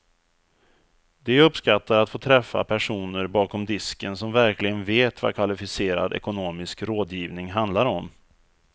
De uppskattar att få träffa personer bakom disken som verkligen vet vad kvalificerad ekonomisk rådgivning handlar om.